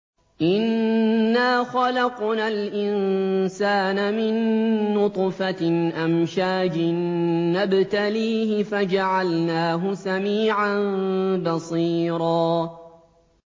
إِنَّا خَلَقْنَا الْإِنسَانَ مِن نُّطْفَةٍ أَمْشَاجٍ نَّبْتَلِيهِ فَجَعَلْنَاهُ سَمِيعًا بَصِيرًا